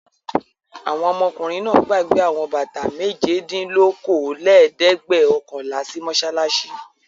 Àwọn ọmọkùnrin náà gbàgbé àwọn bàtà méjedínlókóólélẹ́ẹ̀dẹ́gbẹ̀ọ̀kànlá sí mọ́ṣáláṣí.